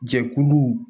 Jɛkulu